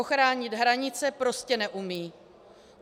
Ochránit hranice prostě neumí.